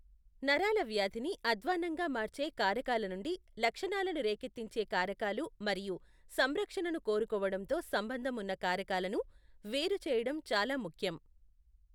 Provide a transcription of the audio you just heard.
నరాలవ్యాధిని అధ్వాన్నంగా మార్చే కారకాల నుండి లక్షణాలను రేకెత్తించే కారకాలు మరియు సంరక్షణను కోరుకోవడంతో సంబంధం ఉన్న కారకాలను వేరు చేయడం చాలా ముఖ్యం.